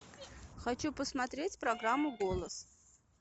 хочу посмотреть программу голос